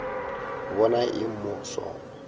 bona eng mo go sona